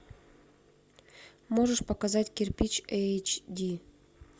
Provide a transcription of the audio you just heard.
можешь показать кирпич эйч ди